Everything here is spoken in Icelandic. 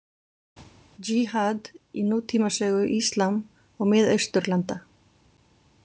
Jihad í nútímasögu íslam og Mið-Austurlanda.